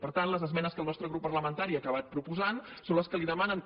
per tant les esmenes que el nostre grup parlamentari ha acabat proposant són les que li demanen que